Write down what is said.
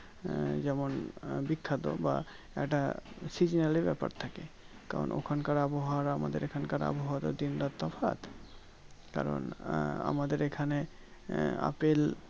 যেমন বিখ্যাত বা একটা seasonally ব্যাপার থাকে কারণ ওই খানকার আবহাওয়া আর আমাদের এই খানকার আবহাওয়া তো দিন রাত তফাৎ কারণ আহ আমাদের এই খানে আহ আপেল